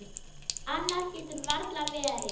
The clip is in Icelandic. Annað getur varla verið.